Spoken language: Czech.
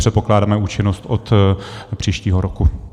Předpokládáme účinnost od příštího roku.